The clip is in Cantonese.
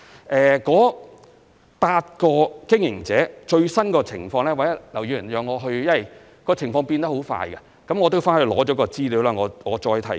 至於該8個經營者的最新情況，因為情況變化很快，容我稍後索取資料後再提供。